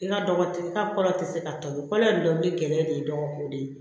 Nka dɔgɔ tɛ ka kɔlɔ tɛ se ka tobi kɔlɔn in dɔnni gɛlɛya de ye dɔgɔ ko de ye